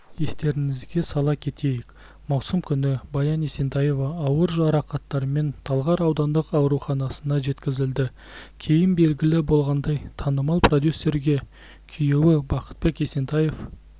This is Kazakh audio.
естеріңізге сала кетейік маусым күні баян есентаева ауыр жарақаттармен талғар аудандық ауруханасына жеткізілді кейін белгілі болғандай танымал продюсерге күйеуі бақытбек есентаев